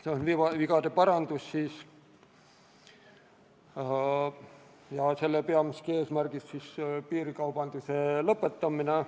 See on vigade parandus ja selle peamine eesmärk on piirikaubanduse lõpetamine.